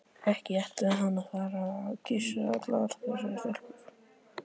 Ekki ætlaði hann að fara að kyssa allar þessar stelpur.